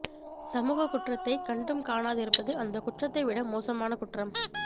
சமூக குற்றத்தை கண்டும் காணாதிருப்பது அந்தக் குற்றத்தை விட மோசமான குற்றம்